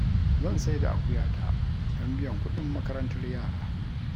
Zan sai da akuya ta don biyan kuɗin makarantar yara